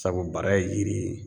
Sabu bara ye yiri ye